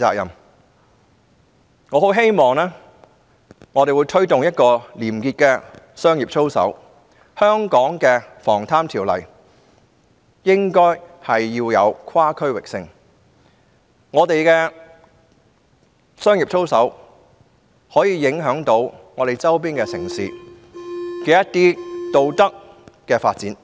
因此，我很希望本港在推動廉潔的商業操守之餘，亦應賦予《防賄條例》跨區域性的約束力，因為我們的商業操守將影響周邊城市的道德發展。